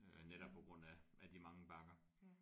Øh netop på grund af af de mange bakker